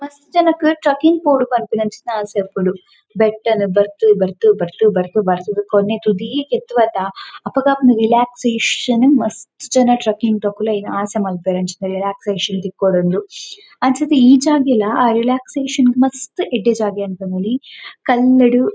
ಮಸ್ತ್ ಜನಕ್ ಟ್ರೆಕ್ಕಿಂಗ್ ಪೋಡು ಪನ್ಪುನಂಚಿತ್ತಿನ ಆಸೆ ಇಪ್ಪುಂಡು ಬೆಟ್ಟನ್ ಬರ್ತ್ ಬರ್ತ್ ಬರ್ತ್ ಬರ್ತ್ ಬರ್ತ್ ದ್ ಕೊನೆ ತುದಿಕ್ ಎತ್ತುವತ ಅಪಗ ಆಪುನ ರಿಲ್ಯಾಕ್ಸೇಷನ್ ಮಸ್ತ್ ಜನ ಟ್ರೆಕ್ಕಿಂಗ್ ದಕುಲು ಐನ್ ಆಸೆ ಮನ್ಪುವೆರ್ ಅಂಚಿತ್ತಿನ ರಿಲ್ಯಾಕ್ಸೇಷನ್ ತಿಕ್ಕೊಡುಂದು. ಅಂಚಾದ್ ಈ ಜಾಗೆಲ ಆ ರಿಲ್ಯಾಕ್ಸೇಷನ್ ಗ್ ಮಸ್ತ್ ಎಡ್ಡೆ ಜಾಗೆಂದ್ ಪನೊಲಿ ಕಲ್ಲ್ ಡ್.